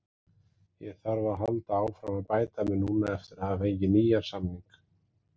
Ég þarf að halda áfram að bæta mig núna eftir að hafa fengið nýjan samning.